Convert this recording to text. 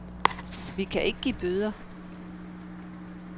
Vi kan ikke give bøder.